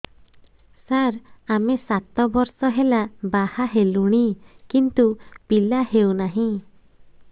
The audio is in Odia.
ସାର ଆମେ ସାତ ବର୍ଷ ହେଲା ବାହା ହେଲୁଣି କିନ୍ତୁ ପିଲା ହେଉନାହିଁ